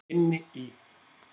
Inni í.